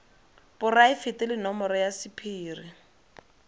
poraefete le nomoro ya sephiri